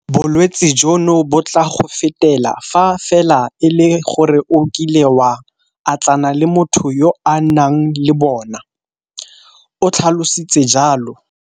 Bolwetse jono bo tla go fetela fa fela e le gore o kile wa atlana le motho yo a nang le bona, o tlhalositse jalo.